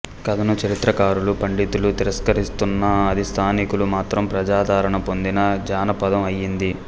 కథను చరిత్రకారులు పండితులు తిరస్కరిస్తున్నా అది స్థానికులు మాత్రం ప్రజాదరణ పొందిన జానపదం అయ్యింది